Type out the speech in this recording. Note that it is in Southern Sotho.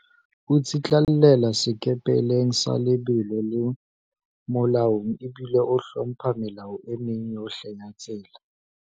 O tsitlallela sekepeleng sa lebelo le molaong ebile o hlompha melao e meng yohle ya tsela.